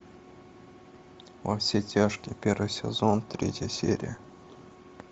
во все тяжкие первый сезон третья серия